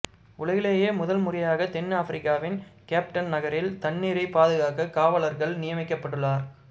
உலகிலேயே முதல் முறையாக தென் ஆப்பிரிக்காவின் கேப்டன் நகரில் தண்ணீரைப் பாதுகாக்க காவலர்கள் நியமிக்கப்பட்டுள்ளார்